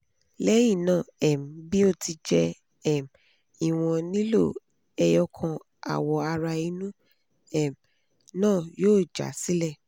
lẹhinna um bi o ti jẹ um iwọn lilo eyokan awo ara inu um naa yoo ja sile